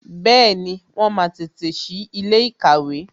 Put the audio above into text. Bẹẹni, wọn máa tètè sí ilé ìkàwé